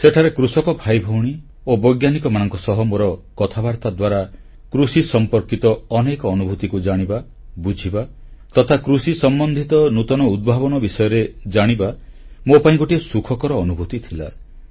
ସେଠାରେ କୃଷକ ଭାଇଭଉଣୀ ଓ ବୈଜ୍ଞାନିକମାନଙ୍କ ସହ ମୋର କଥାବାର୍ତ୍ତା ଦ୍ୱାରା କୃଷି ସମ୍ପର୍କିତ ଅନେକ ଅନୁଭୂତିକୁ ଜାଣିବା ବୁଝିବା ତଥା କୃଷି ସମ୍ବନ୍ଧିତ ନୂତନ ଉଦ୍ଭାବନ ବିଷୟରେ ଜାଣିବା ମୋ ପାଇଁ ଗୋଟିଏ ସୁଖକର ଅନୁଭୂତି ଥିଲା